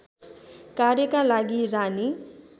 कार्यका लागि रानी